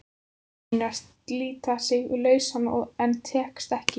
Hann reynir að slíta sig lausan en tekst ekki.